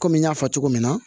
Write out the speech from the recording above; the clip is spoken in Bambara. Kɔmi n y'a fɔ cogo min na